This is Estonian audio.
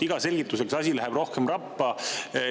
Iga selgitusega läheb see asi rohkem rappa.